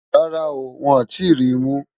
Rárá o, wọ́n ò tí ì ri mú